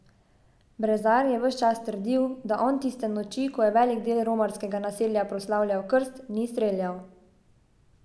Brezar je ves čas trdil, da on tiste noči, ko je velik del romskega naselja proslavljal krst, ni streljal.